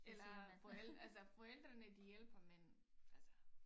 Eller men altså forældrene de hjælper men altså